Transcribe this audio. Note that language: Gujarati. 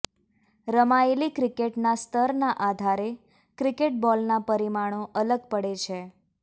રમાયેલી ક્રિકેટના સ્તરના આધારે ક્રિકેટ બોલના પરિમાણો અલગ પડે છે